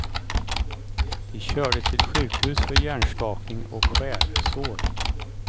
De kördes till sjukhus för hjärnskakning och skärsår.